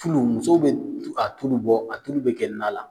Turu musow bɛ a tulu bɔ a tuuru bɛ kɛ na la